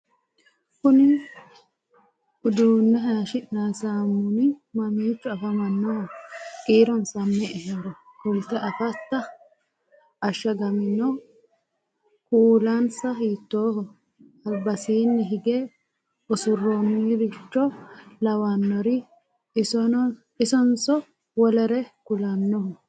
kuni uduunne hayyeshshi'nanni saamuni mamiicho afamannoho? kiironsa me"ehoro kulte afatta? ashshagamino kuulinsa hiittooho? albasiinni hige usuraancho lawannori isonso wolere kulannoho?